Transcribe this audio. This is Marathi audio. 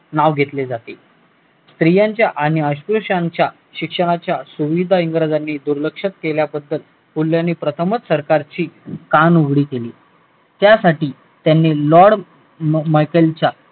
नाव घेतले जाते स्त्रियांच्या आणि अस्पृश्यांच्या शिक्षणाच्या इंग्रजांनी दुर्लक्ष केल्याबद्दल प्रथमच सरकारची कानउघाडणी केली त्यासाठी त्यांनी lord maicheal च्या